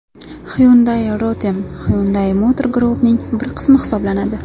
Hyundai Rotem Hyundai Motor Group’ning bir qismi hisoblanadi.